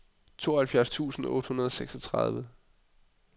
tooghalvfjerds tusind otte hundrede og seksogtredive